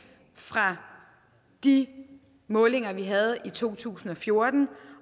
fra de målinger vi havde i to tusind og fjorten